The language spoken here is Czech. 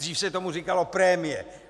Dřív se tomu říkalo prémie.